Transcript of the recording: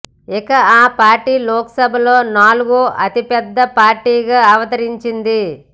ఇక ఆ పార్టీ లోకసభలో నాలుగో అతి పెద్ద పార్టీగా అవతరించింది